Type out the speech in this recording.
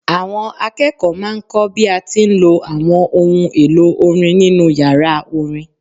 Àwọn akẹ́kọ̀ọ́ máa ń kọ́ bí a ti ń lo àwọn ohun èlò orin nínú yàrá orin.